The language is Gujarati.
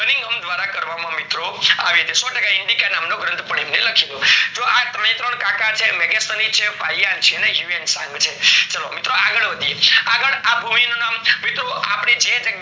કરવામ માં મિત્રો આવી છે ઈન્ડીકા નામ નો ગ્રંથ પાડીને લખેલો તો આં ત્રણે ત્રણ ટકા છે મેગેસની છે પાયણછે હ્યુએન્ત્સન્ગ છે તો આગળ વધીએ આગળ આ ભૂમિ નું નામ મિત્રો આપડી જી